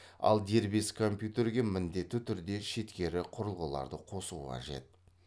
ал дербес компьютерге міндетті түрде шеткері құрылғыларды қосу қажет